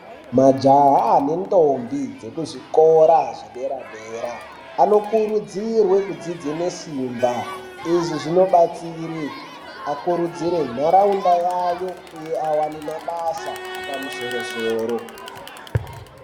Majaha nentombi dzekuzvikora zvedera dera anokurudzirwe kudzidze nesimba izvi zvinobatsire akurudzire nharaunda yayo uye awane mabasa apamusoro soro.